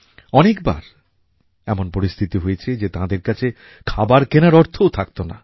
অনেকবার এমন পরিস্থিতি হয়েছে যে তাঁদের কাছে খাবার কেনার অর্থও থাকতো না